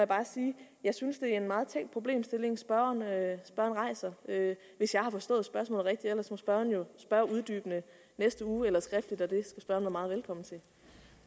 bare sige jeg synes det er en meget tænkt problemstilling spørgeren rejser hvis jeg har forstået spørgsmålet rigtigt ellers må spørgeren jo spørge uddybende næste uge eller skriftligt